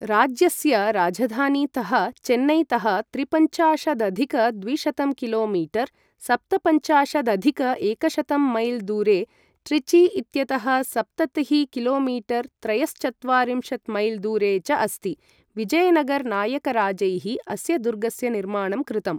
राज्यस्य राजधानीतः चेन्नैतः त्रिपञ्चाशदधिक द्विशतं किलो मीटर् सप्तपञ्चाशदधिक एकशतं मैल् दूरे, ट्रिची इत्यतः सप्ततिः किलो मीटर् त्रयश्चत्वारिंशत् मैल् दूरे च अस्ति। विजयनगर् नायकराजैः अस्य दुर्गस्य निर्माणं कृतम्।